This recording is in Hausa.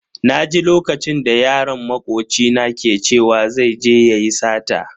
Naji lokacin da yaron makoci na ke cewa zai je yayi sata.